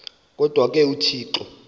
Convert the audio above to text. kodwa ke uthixo